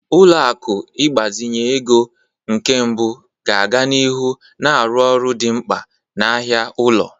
Ụlọ akụ ịgbazinye ego nke mbụ ga-aga n'ihu na-arụ ọrụ dị mkpa n'ahịa ụlọ.